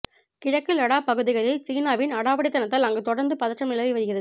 கிழக்கு லடாக் பகுதிகளில் சீனாவின் அடாவடிதனத்தால் அங்கு தொடர்ந்து பதற்றம் நிலவி வருகிறது